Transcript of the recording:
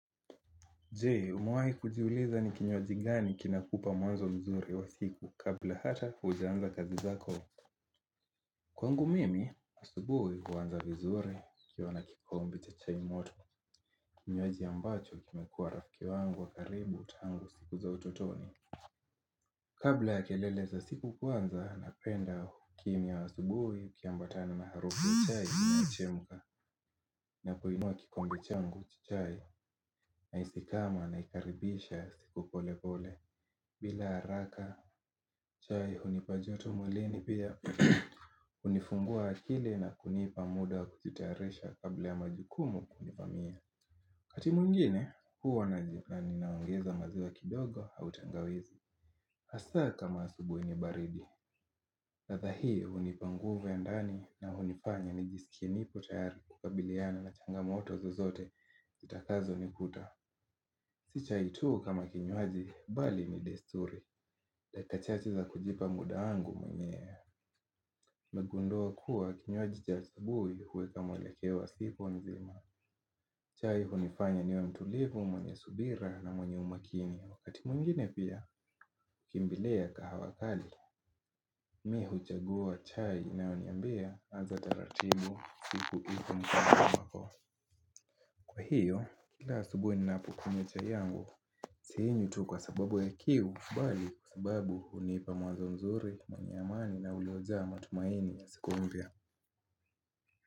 Je, umewai kujiuliza ni kinywaji gani kinakupa mwanzo mzuri wa siku kabla hata hujaanza kazi zako. Kwangu mimi, asubuhi huanza vizuri nikiwa na kikombe cha chai moto. Kinywaji ambacho kimekuwa rafiki wangu wa karibu tangu siku za utotoni. Kabla ya kelele za siku kuanza, napenda kimya asubuhi kiambatana na harufu chai ya chemka. Na kuinua kikombe changu cha chai na hisi kama naikaribisha siku pole pole bila haraka chai hunipa joto mwilini pia kunifungua akili na kunipa muda kujitayarisha kabla ya majukumu kunivamia wakati mwingine huwa naji ninaongeza maziwa kidogo au tangawizi hasa kama asubuhi ni baridi latha hii hunipa nguvu ya ndani na hunifanya nijiskie nipo tayari kukabiliana na changa moto zozote Zitakazo nikuta Si chai tuu kama kinywaji bali ni desturi leta chati za kujipa muda wangu mwenyewe nimegundua kuwa kinywaji cha asubuhi huwaka mwelekeo siku nzima chai hunifanya niwe mtulivu mwenye subira na mwenye umakini Wakati mwingine pia kimbilia kahawa kali Mi huchagua chai inayo niambia anza taratibu siku ipo mkononi mwako Kwa hiyo, kila asubuhi ninapokunywa chai yangu sinywi tu kwa sababu ya kiu bali kwa sababu hunipa mawazo mzuri, mwenye amani na ulioja matumaini ya siku mpya.